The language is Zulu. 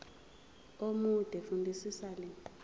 omude fundisisa le